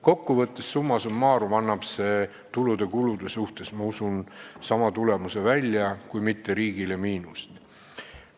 Kokkuvõttes, summa summarum annab see tulude ja kulude suhtes ehk sama tulemuse välja, kui mitte ei too riigile miinust.